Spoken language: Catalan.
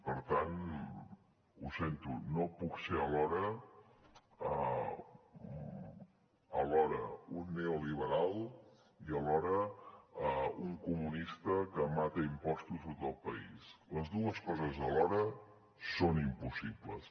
per tant ho sento no puc ser alhora un neoliberal i un comunista que mata a impostos tot el país les dues coses alhora són impossibles